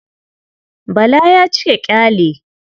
Bala ya cika ƙyale.